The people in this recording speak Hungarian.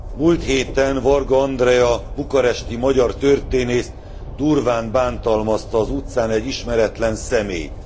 Múlt héten Varga Andrea bukaresti magyar történészt durván bántalmazta az utcán egy ismeretlen személy.